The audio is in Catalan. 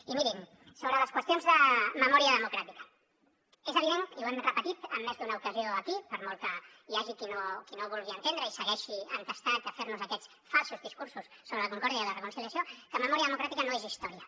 i mirin sobre les qüestions de memòria democràtica és evident i ho hem repetit en més d’una ocasió aquí per molt que hi hagi qui no ho vulgui entendre i segueixi entestat a fer nos aquests falsos discursos sobre la concòrdia i la reconciliació que memòria democràtica no és història